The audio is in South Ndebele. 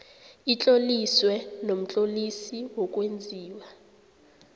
itloliswe nomtlolisi wokwenziwa